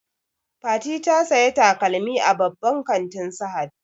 Fati ta saya takalmi a babban kantin sahad